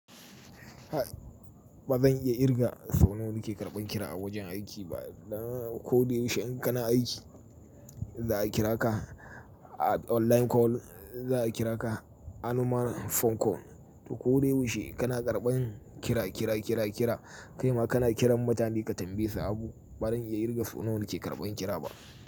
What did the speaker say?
Ba zan iya kirga so nawa da ke karɓan kira a wajen aiki ba. Dan koda yaushe in kana aiki, za a kira ka online call, za a kira ka a normal phone call. To koda yaushe kana karɓan kira, kira, kira, kira. Kai ma kana kiran mutane ka tambaye su abu. Ba zan iya kirga so nawa da ke karɓan kira ba.